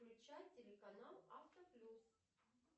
включай телеканал авто плюс